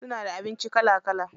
Suna da abinci kala kala.